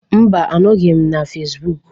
Mba, anọghị m na Fesbuk